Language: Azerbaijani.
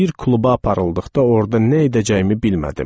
Bir kluba aparıldıqda orda nə edəcəyimi bilmədim.